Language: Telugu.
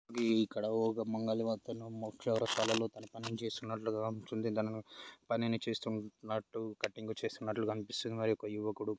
ఇక్కడ ఒక మంగలి మొక్ చౌరస్తాలో తన పని తాను చేస్తునట్టు గా పనిని చేస్తున్నట్టు కటింగ్ చేస్తున్నట్లుగనిపిస్తుంది మరి ఒక యువకుడు --